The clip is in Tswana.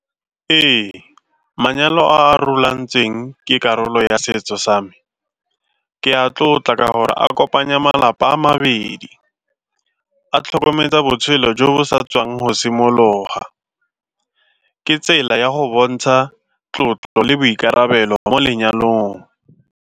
Ee, manyalo a a rulagantsweng ke karolo ya setso sa me ke a tlotla ka gore a kopanya malapa a mabedi a tlhokometse botshelo jo bo sa tswang go simologa, ke tsela ya go bontsha tlotlo le boikarabelo mo lenyalong.